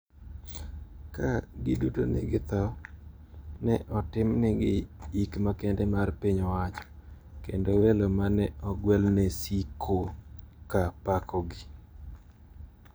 Ka giduto ne githo, ne otimnegi yik makende mar piny owacho, kendo welo ma ne ogwel ne siko ka pakogi.